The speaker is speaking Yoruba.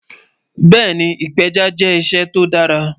Bẹ́ẹni, ìpẹja jẹ́ iṣẹ́ tó dàrà